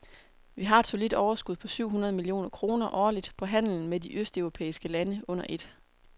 Vi har et solidt overskud på syv hundrede millioner kroner årligt på handelen med de østeuropæiske lande under et.